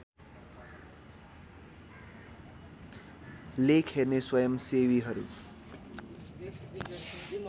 लेख हेर्ने स्वयम्‌सेवीहरू